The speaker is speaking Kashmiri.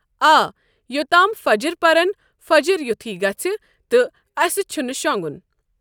آ یوٚتام فَجر پَرن فجر یُتھُے گژھِ تہٕ اَسہِ چھُنہ شۄنٛگُن ۔